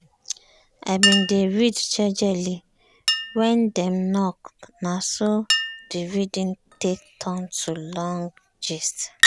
i bin dey read jejely when dem knock na so the reading take turn to long gist.